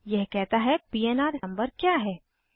यह कहता है पन्र नंबर क्या है